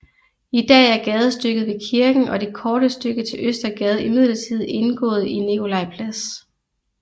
I dag er gadestykket ved kirken og det korte stykke til Østergade imidlertid indgået i Nikolaj Plads